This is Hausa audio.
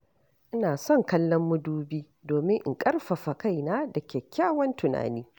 Ina son kallon madubi domin in ƙarfafa kaina da kyakkyawan tunani.